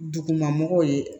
Duguma mɔgɔw ye